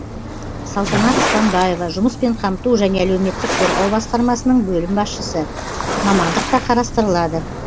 салтанат станбаева жұмыспен қамту және әлеуметтік қорғау басқармасының бөлім басшысы мамандық та қарастырылады